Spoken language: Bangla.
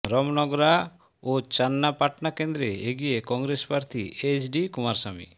রমনগরা ও চান্নাপাটনা কেন্দ্রে এগিয়ে কংগ্রেস প্রার্থী এইচ ডি কুমারস্বামী